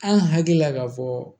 An hakili la k'a fɔ